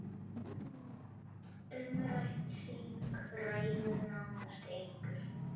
Umrætt þing ræður nánast engu.